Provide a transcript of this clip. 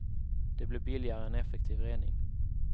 Det blir billigare än effektiv rening.